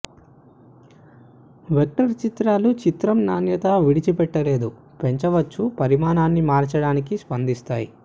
vector చిత్రాలు చిత్రం నాణ్యత విడిచిపెట్టలేదు పెంచవచ్చు పరిమాణాన్ని మార్చడానికి స్పందిస్తాయి